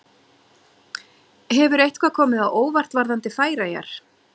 Hefur eitthvað komið á óvart varðandi Færeyjar?